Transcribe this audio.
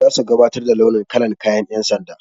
Zasu gabatar da sabon launin kalar kayan ƴan sanda.